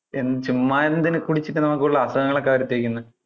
ചുമ്മാ എന്തിനാ കുടിച്ചിട്ട് നമുക്ക് കൂടുതൽ അസുഖങ്ങൾ ഒക്കെ വരുത്തി വെക്കുന്നെ.